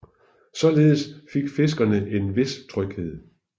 Således fik fiskerne en vis tryghed